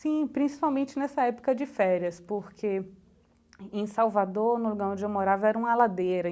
Sim, principalmente nessa época de férias, porque em em Salvador, na onde eu morava, era uma ladeira.